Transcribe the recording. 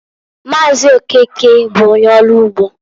Maazi Okeke bụ onye ọrụ ugbo.